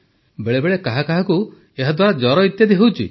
ବେଳେବେଳେ କାହା କାହାକୁ ଏହାଦ୍ୱାରା ଜ୍ୱର ଇତ୍ୟାଦି ହେଉଛି